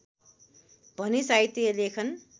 भने साहित्य लेखन